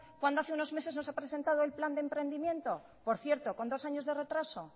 cuando hace unos meses no se ha presentado el plan de emprendimiento por cierto con dos años de retraso